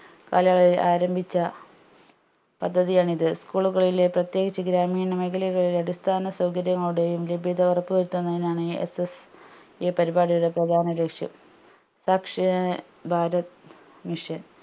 കാലയളവിൽ ആരംഭിച്ച പദ്ധതിയാണിത് school ലുകളിലെ പ്രതേകിച്ച് ഗ്രാമീണ മേഖലകളിലെ അടിസ്ഥാന സൗകര്യങ്ങളുടെയും ലഭ്യത ഉറപ്പ് വരുത്തുന്നതിനാണ് SS ഈ പരിപാടിയുടെ പ്രാധാന്യ ലക്ഷ്യം സാക്ഷ്യ ഏർ bharath mission